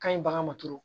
Ka ɲi bagan ma turu